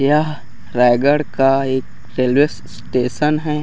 यहँ रायगढ़ का एक railway station है।